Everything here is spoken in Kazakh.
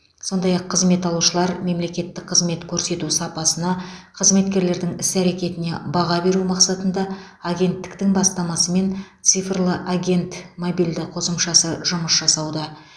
сондай ақ қызмет алушылар мен мемлекеттік қызмет көрсету сапасына қызметкерлердің іс әрекетіне баға беру мақсатында агенттіктің бастамасымен цифрлы агент мобильді қосымшасы жұмыс жасауда